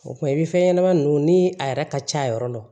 O kuma i bi fɛn ɲɛnama ninnu ni a yɛrɛ ka ca yɔrɔ dɔn